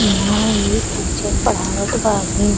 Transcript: इहां एक टीचर पढ़ावत बा। हिन् --